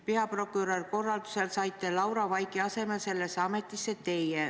Peaprokuröri korraldusel saite Laura Vaigu asemel sellesse ametisse teie.